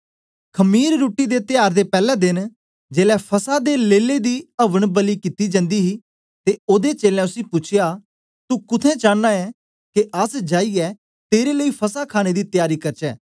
खमीर रुट्टी दे त्यार दे पैले देन जेलै फसह दे लेले दी अवन बलि कित्ती जन्दी ही ते ओदे चेलें उसी पूछया तू कुत्थें चांना ऐ के अस जाईयै तेरे लेई फसह खाणे दी त्यारी करचै